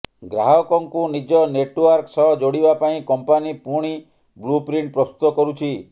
ଗ୍ରାହକଙ୍କୁ ନିଜ ନେଟୱର୍କ ସହ ଯୋଡିବା ପାଇଁ କଂପାନୀ ପୁଣି ବ୍ଳୁ ପ୍ରିଣ୍ଟ ପ୍ରସ୍ତୁତ କରୁଛି